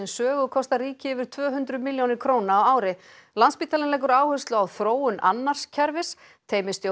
Sögu kostar ríkið yfir tvö hundruð milljónir króna á ári landspítalinn leggur áherslu á þróun annars kerfis